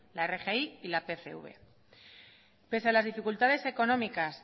la rgi y la pcv pese a las dificultades económicas